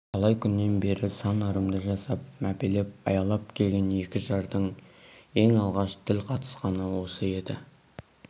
талай күннен бері сан ырымды жасап мәпелеп аялап келген екі жардың ең алғаш тіл қатысқаны осы еді